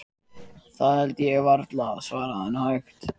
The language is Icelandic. Það held ég varla, svaraði hann hægt.